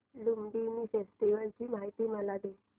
Lumbini festival ची मला माहिती दे